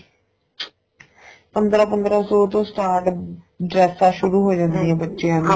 ਪੰਦਰਾਂ ਪੰਦਰਾਂ ਸੋ ਤੋਂ start ਜੇਕਟਾ ਸ਼ੁਰੂ ਹੋ ਬੱਚਿਆਂ ਦੀਆਂ